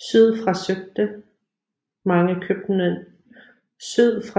Syd fra